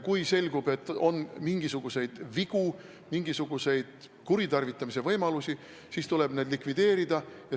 Kui selgub, et on mingisuguseid vigu, mingisuguseid kuritarvitamise võimalusi, siis tuleb need likvideerida.